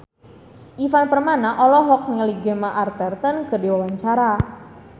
Ivan Permana olohok ningali Gemma Arterton keur diwawancara